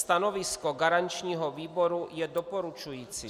Stanovisko garančního výboru je doporučující.